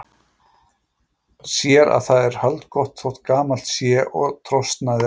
Sér að það er haldgott þótt gamalt sé og trosnaðir endarnir.